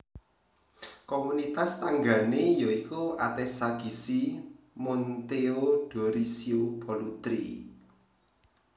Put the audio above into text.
Komunitas tanggané ya iku Atessa Gissi Monteodorisio Pollutri